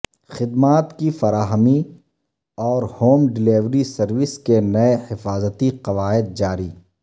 خدمات کی فراہمی اورہوم ڈلیوری سروس کے نئے حفاظتی قواعد جاری